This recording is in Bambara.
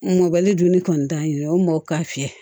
Mɔbali dun kɔni t'an ye o mɔ ka fiyɛ